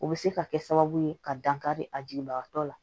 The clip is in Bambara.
O bɛ se ka kɛ sababu ye ka dankari a jigibagatɔ la